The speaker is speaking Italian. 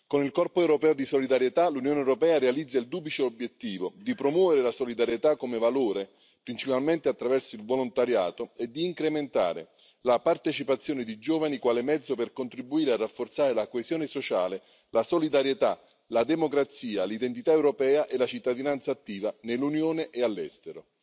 Con il corpo europeo di solidarietà, l'Unione europea realizza il duplice obiettivo di promuovere la solidarietà come valore, principalmente attraverso il volontariato, e di incrementare la partecipazione di giovani quale mezzo per contribuire a rafforzare la coesione sociale, la solidarietà, la democrazia, l'identità europea e la cittadinanza attiva nell'Unione e all'estero.